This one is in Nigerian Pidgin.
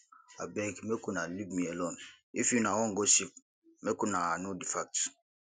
abeg make una leave me alone if una wan gossip make una know the facts